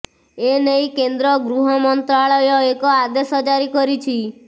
ଏ ନେଇ କେନ୍ଦ୍ର ଗୃହ ମନ୍ତ୍ରାଳୟ ଏକ ଆଦେଶ ଜାରି କରିଛି